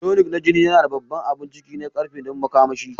Tonic na jini yana da babban abun ciki na ƙarfe don makamashi